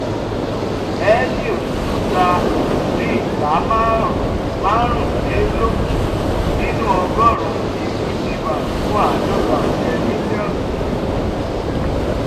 helios tun ta ìpín ìdá márùnlélógún nínú ọgọ́rùn-ún equity bank fún àádọ́ta-ọ̀kẹ́ mílíọ̀nù-sh.